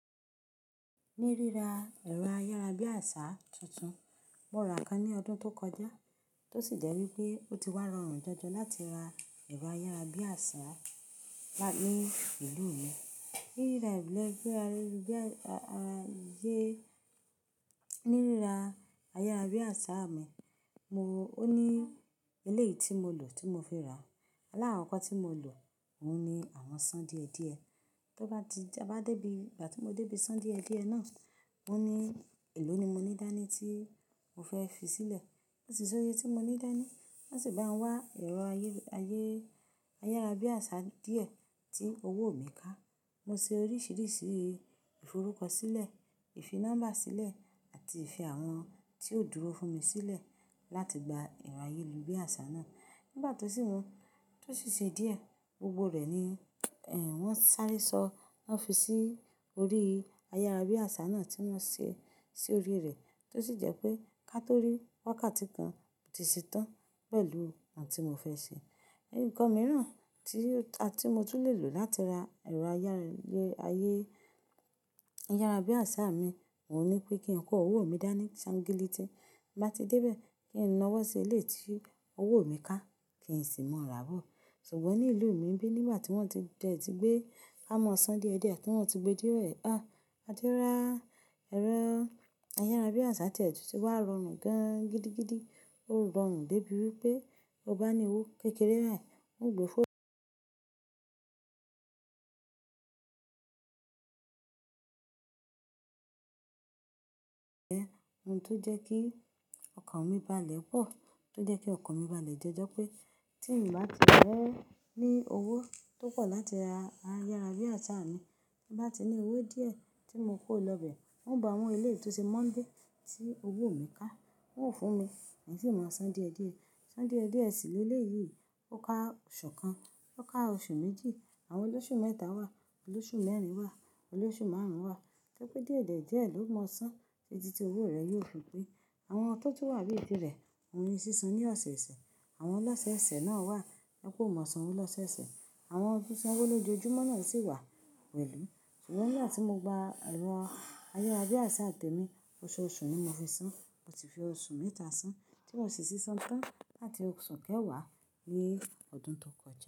Ní rírà ẹ̀rọ ayárabíàṣá tuntun, mo rà kan ní ọdún tó kọjá, tó sì jẹ́ wípé ó ti wá rọrùn jọjọ láti ra ẹ̀rọ ayárabíàṣá lá, ní ìlú mi. Ní rírà ẹlẹ́rọ ayárabíàṣá mi, mo, ó ní eléyìí tí mo lò tí mo fi rà á. Alákoko tí mo lò, òun ni àwọn ṣán díẹ̀díẹ̀. Tó bá ti, bá dé ibi, ìgbà tí mo dé ibi ṣán díẹ̀díẹ̀ náà, mo ní, "È ló ni mo ní dání tí mo fẹ́ fi sílẹ̀." Kò sì ṣóye tí mo ní dání. Wọ́n sì bá ń wá ẹ̀rọ ayé, ayé, ayárabíàṣá díẹ̀ tí owó mi ká, mo ṣe oríṣìíríṣìí ìforúkọ sílẹ̀, ìfi nọ́mbà sílẹ̀ àti ìfi àwọn tí ó dúró fún mi sílẹ̀ láti gba ẹ̀rọ ayélubíàṣá náà. Nígbà tó sì mú, tó sì ṣe díẹ̀, gbogbo rẹ̀ ni, ẹh, wọ́n sáré sọ, wọ́n fi sí orí ayárabíàṣá náà tí wọ́n ṣe sí orí rẹ̀. Tó sì jẹ́ pé kátòrí wákàtí kan ò tíì ṣe tán pẹ̀lú ohun tí mo fẹ́ ṣe. Ǹkan mìíràn tí, tí mo tún lè lò láti ra ẹ̀rọ ayé, ayé, ayárabíàṣá mi, òun ní pé kí n kó owó mi dání ṣángílétì. Bí bá ti dé bẹ́ẹ̀, kí n náwó sí eléyì tí owó mi ká, kí n sì mọ rà á bọ̀. Ṣùgbọ́n ní ìlú mi níbí, nígbà tí wọ́n ti bẹ́ẹ̀ tí gbé ká mọ̀ ṣán díẹ̀díẹ̀ tí wọ́n ti gbé dé rẹ̀, a ti rà ẹ̀rọ ayárabíàṣá tí ẹ̀ tún tí wá rọrùn gan-gidigidi. Ó rọrùn dé bí wípé, tọ bá ní owó kékeré à é, ó gbé fóònù ẹ ohun tó jẹ́ kí ọkàn mi báà lẹ̀ pọ̀, tó jẹ́ kí ọkàn mi báà lẹ̀ jẹ́ ẹ jọ pé tí n bá ti ẹ́ fẹ́ ní owó tó pọ̀ láti ra ayárabíàṣá mi, tí bá ti ní owó díẹ̀ tí mo kó lọ bẹ́ẹ̀, wọ́n ó bá ń mú eléyì tó ṣe mọ́nbe tí owó mi ká. Wọn ó fún mi, n sì máa san díẹ̀díẹ̀. San díẹ̀díẹ̀ sì lé léyìí. Ó ká oṣù kan, ó ká oṣù méjì, àwọn oloṣù mẹ́ta wà, oloṣù mẹ́rin wà, oloṣù márùn-ún wà. Torí pé díẹ̀díẹ̀ díẹ̀ ló mọ ṣán, títí tí owó rẹ yóò fi pé. Àwọn tó tún wà bí tirẹ̀, òun ní sísan ní ọ̀sẹ̀ẹ̀sẹ̀. Àwọn ọlọ̀sẹ̀ẹ̀sẹ̀ náà wà, tó jẹ́pé ó mọ ṣánwo lọ̀sẹ̀osẹ̀. Àwọn fi ṣánwo lójoojúmọ́ náà sì wà pẹ̀lú. Ṣùgbọ́n nígbà tí mo gba ẹ̀rọ ayárabíàṣá tẹ̀mi, oṣooṣù ni mo fi san. Mo ti fi oṣù mẹ́ta san tí mo sì ti san tán láti oṣù kéwàá ni ọdún tó kọjá.